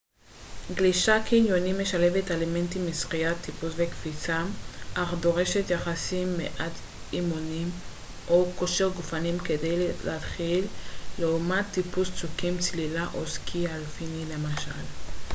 גלישת קניונים משלבת אלמנטים משחייה טיפוס וקפיצה - אך דורשת יחסית מעט אימונים או כושר גופני כדי להתחיל לעומת טיפוס צוקים צלילה או סקי אלפיני למשל